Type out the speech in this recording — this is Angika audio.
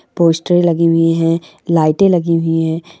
पोस्टर लगी हुई है लाइटे लगी हुई है ।